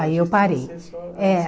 Aí eu parei. Artística você só. É.